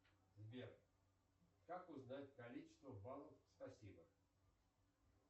сбер как узнать количество баллов спасибо